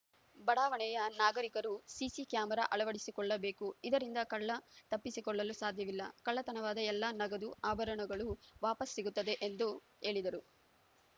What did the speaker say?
ಬಡಾವಣೆಯ ನಾಗರಿಕರು CC camera ಅಳವಡಿಸಿಕೊಳ್ಳಬೇಕು ಇದರಿಂದ ಕಳ್ಳ ತಪ್ಪಿಸಿಕೊಳ್ಳಲು ಸಾಧ್ಯವಿಲ್ಲ ಕಳ್ಳತನವಾದ ಎಲ್ಲಾ ನಗದು ಆಭರಣಗಳು ವಾಪಾಸ್‌ ಸಿಗುತ್ತವೆ ಎಂದು ಹೇಳಿದರು